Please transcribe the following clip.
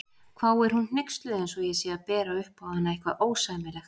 hváir hún hneyksluð eins og ég sé að bera upp á hana eitthvað ósæmilegt.